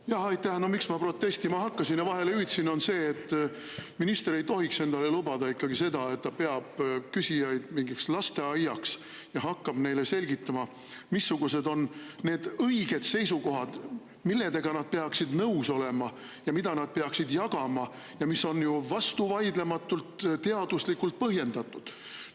No, miks ma protestima hakkasin ja vahele hüüdsin, on see, et minister ei tohiks endale lubada seda, et ta peab küsijaid mingiks lasteaiaks ja hakkab neile selgitama, missugused on õiged seisukohad, millega nad peaksid nõus olema, mida nad peaksid jagama ning mis on vastuvaidlematult ja teaduslikult põhjendatud.